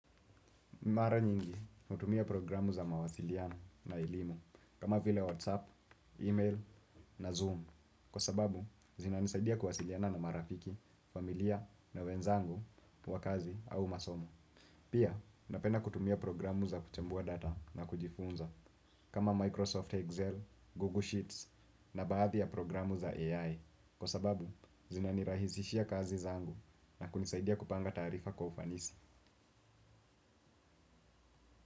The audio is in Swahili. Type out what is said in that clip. Mara nyingi natumia programu za mawasiliano na elimu, kama vile WhatsApp, email na Zoom, kwa sababu zina nisaidia kuwasiliana na marafiki, familia na wenzangu wa kazi au masomo. Pia, napenda kutumia programu za kuchambua data na kujifunza, kama Microsoft Excel, Google Sheets na baadhi ya programu za AI, kwa sababu zinanirahisishia kazi zangu na kunisaidia kupanga taarifa kwa ufanisi.